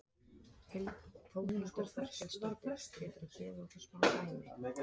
Þórhildur Þorkelsdóttir: Geturðu gefið okkur smá dæmi?